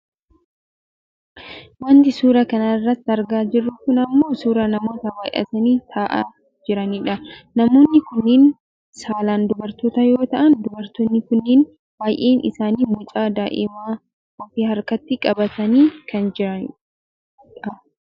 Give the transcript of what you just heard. Wanti suuraa kanarratti argaa jirru kun ammoo suuraa namoota baayyatanii taa'aa jiranidha. Namoonni kunneen saalaan dubartoota yoo ta'an dubartoonni kunneen baayyeen isaanii mucaa daa'imaa of harkatti qabatanii kan jirani dha.